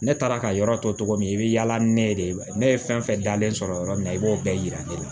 Ne taara ka yɔrɔ tɔ cogo min i bɛ yaala ni ne ye de ne ye fɛn fɛn dalen sɔrɔ yɔrɔ min i b'o bɛɛ yira ne la